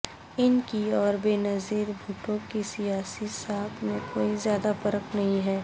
ان کی اور بے نظیر بھٹو کی سیاسی ساکھ میں کوئی زیادہ فرق نہیں ہے